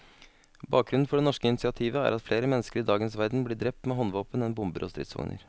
Bakgrunnen for det norske initiativet er at flere mennesker i dagens verden blir drept med håndvåpen enn bomber og stridsvogner.